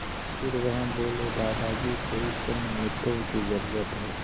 फिर वह बोले दादाजी को इस समय मित्रों की ज़रूरत है